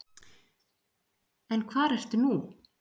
En hvar ertu nú?